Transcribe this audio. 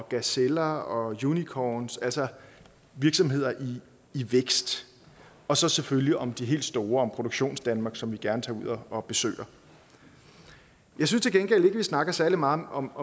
gazeller og unicorns altså virksomheder i vækst og så selvfølgelig om de helt store om produktionsdanmark som vi gerne tager ud og besøger jeg synes til gengæld ikke vi snakker særlig meget om